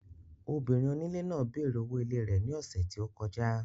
Obìnrin onílé náà bèèrè owó ilé rẹ̀ ní ọ̀ṣẹ̀ tí ó kọjá.